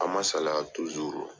An man salaya